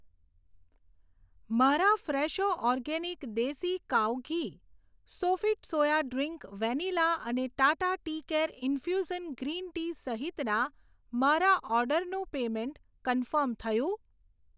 મારા Fresho organic desi cow ghee, Sofit soya drink vanilla અને Tata tea care infusion green tea સહિતના મારા ઓર્ડરનું પેમેંટ કન્ફર્મ થયું?